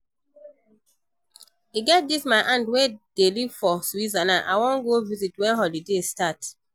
E get dis my aunt wey dey live for Switzerland I wan go visit wen holiday start